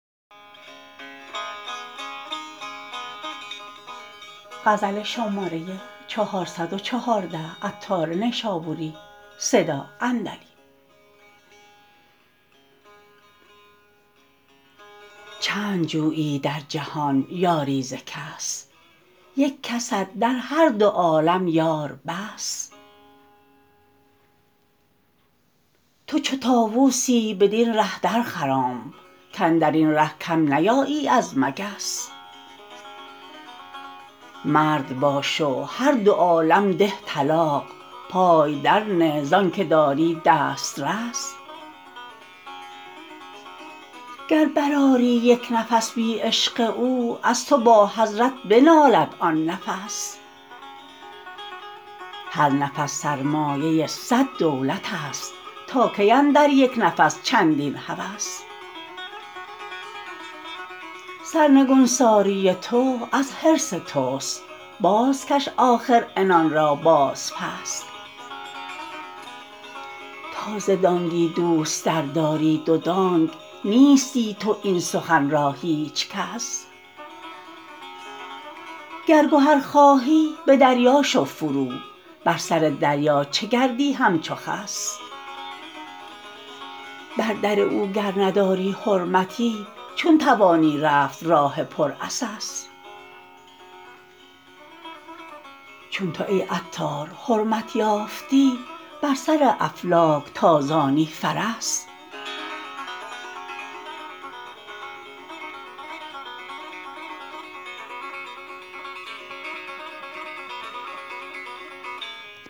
چند جویی در جهان یاری ز کس یک کست در هر دو عالم یار بس تو چو طاوسی بدین ره در خرام کاندرین ره کم نیایی از مگس مرد باش و هر دو عالم ده طلاق پای در نه زانکه داری دست رس گر برآری یک نفس بی عشق او از تو با حضرت بنالد آن نفس هر نفس سرمایه صد دولت است تا کی اندر یک نفس چندین هوس سرنگونساری تو از حرص توست باز کش آخر عنان را باز پس تا ز دانگی دوست تر داری دودانگ نیستی تو این سخن را هیچ کس گر گهر خواهی به دریا شو فرو بر سر دریا چه گردی همچو خس بر در او گر نداری حرمتی چون توانی رفت راه پر عسس چون تو ای عطار حرمت یافتی بر سر افلاک تازانی فرس